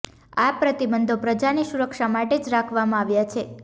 આ પ્રતિબંધો પ્રજાની સુરક્ષા માટે જ રાખવામાં આવ્યા છે